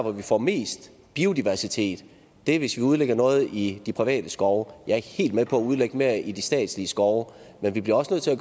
vi får mest biodiversitet er hvis vi udlægger noget i de private skove jeg er helt med på at udlægge mere i de statslige skove men vi bliver også nødt til at